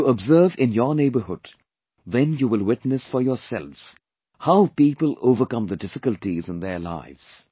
If you observe in your neighbourhood, then you will witness for yourselves how people overcome the difficulties in their lives